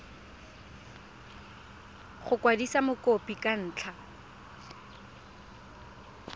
go kwadisa mokopi ka ntlha